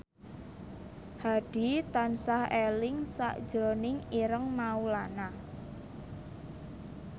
Hadi tansah eling sakjroning Ireng Maulana